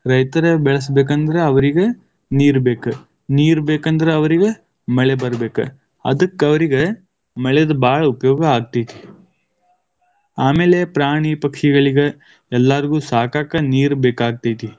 ರೈತರ ಬೆಳೆಸಬೇಕೆಂದ್ರ ಅವರಿಗ ನೀರ್ ಬೇಕ, ನೀರ್ ಬೇಕಂದ್ರ ಅವರಿಗ ಮಳೆ ಬರಬೇಕ. ಅದಕ್ಕ ಅವರಿಗ ಮಳೆದ ಭಾಳ ಉಪಯೋಗ ಆಗ್ತೈತಿ. ಆಮೇಲೆ ಪ್ರಾಣಿ ಪಕ್ಷಿಗಳಿಗ ಎಲ್ಲಾರಿಗೂ ಸಾಕಾಕ ನೀರು ಬೇಕಾಗತೈತಿ.